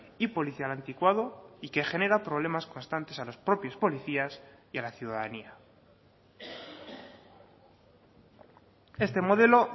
y policial anticuado y que genera problemas constantes a los propios policías y a la ciudadanía este modelo